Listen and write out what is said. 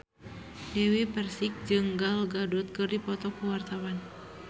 Dewi Persik jeung Gal Gadot keur dipoto ku wartawan